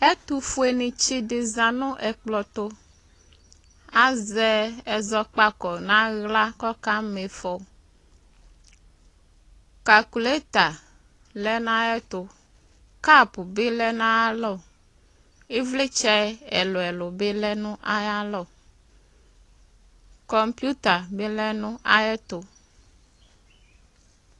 ɛtʋƒʋenitsi di za nʋ ɔkplɔtʋ azɛ ɛzɔkpako naɣla kɔka miƒɔ NA lɛ nayɛtʋ NA bilɛ nayʋalɔ ivlitsɛ ɛlʋɛlʋ bi lɛ nayʋalɔ NA bilɛ nayʋɛtʋ